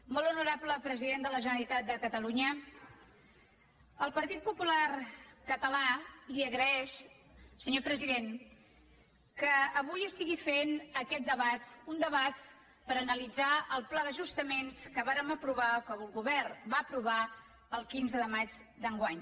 molt honorable president de la generalitat de catalunya el partit popular català li agraeix senyor president que avui estigui fent aquest debat un debat per analitzar el pla d’ajustaments que vàrem aprovar o que el govern va aprovar el quinze de maig d’enguany